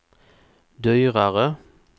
dyrare